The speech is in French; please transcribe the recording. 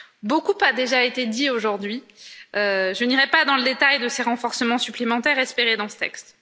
Beaucoup a déjà été dit aujourd'hui, je n'irai pas dans le détail de ces renforcements supplémentaires espérés dans ce texte.